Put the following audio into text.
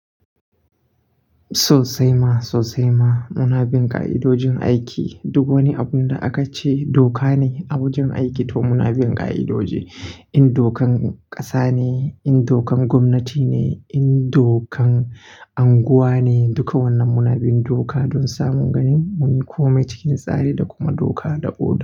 Sosaima sosaima, munabin ƙa'idojin aiki duk wani abun da aka ce doka ne abun jin aiki to munabin ƙa'idoji. In dokan ƙasa ne, in dokan gwamnati ne, in dokan anguwa ne, duka wannan munabin doka don samun ganin munyi komai cikin tsari da kuma doka da oda.